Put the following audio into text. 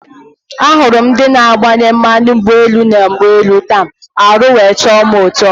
Ahụrụ m ndị na agbanye mmanụ ụgbọelu na ụgbọelu taa, arụ wee tọ mụ ụtọ